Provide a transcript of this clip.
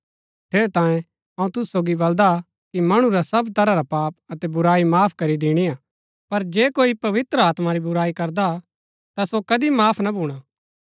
ठेरैतांये अऊँ तुसु सोगी बलदा कि मणु रा सब तरह रा पाप अतै बुराई माफ करी दिणिआ पर जे कोई आत्मा री बुराई करदा ता सो कदी माफ ना भूणा